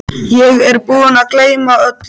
Ég er búinn að gleyma öllu!